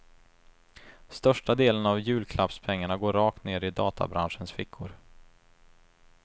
Största delen av julklappspengarna går rakt ner i databranschens fickor.